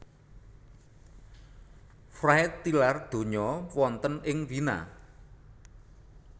Fried tilar donya wonten ing Wina